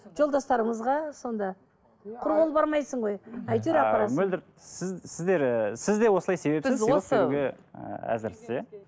жолдастарымызға сонда құр қол бармайсың ғой әйтеуір апарасың ааа мөлдір сіз сіздер сіз де осылай себепсіз сыйлық беруге ііі әзірсіз иә